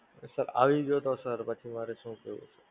Sir આવી ગ્યું તો Sir પછી માંરે શું કરવું?